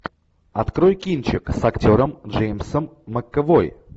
открой кинчик с актером джеймсом макэвой